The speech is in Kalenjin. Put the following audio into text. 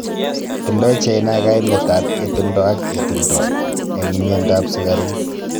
Tindoi China kaimet ap etundo ak etundo eng miendo ap sukaruk.